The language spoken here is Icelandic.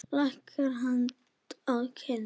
Leggur hönd að kinn.